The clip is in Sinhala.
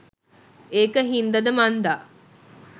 ඒක හින්ද ද මන්දා